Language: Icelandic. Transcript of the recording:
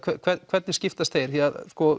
hvernig skiptast þeir því að